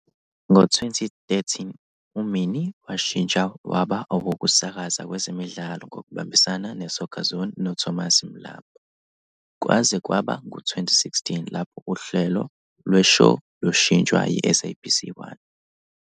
Ngo-2013, uMinnie washintsha waba owokusakaza kwezemidlalo ngokubambisana ne-Soccerzone noThomas Mlambo, kwaze kwaba ngu-2016 lapho uhlelo lwe-show lushintshwa yi-SABC 1.